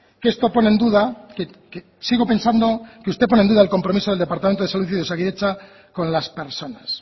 que esto pone en duda que sigo pensando que usted pone en duda el compromiso del departamento de salud y de osakidetza con las personas